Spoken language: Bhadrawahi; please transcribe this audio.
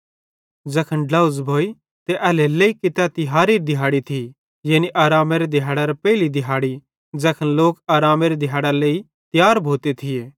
ज़ैखन ड्लोझ़ भोइ ते एल्हेरेलेइ कि तै तिहारेरी दिहाड़ी थी यानी आरामेरे दिहाड़ेरे पेइली दिहाड़ी ज़ैखन लोक आरामेरी दिहाड़ेरे लेइ तियार भोते थिये त तैखन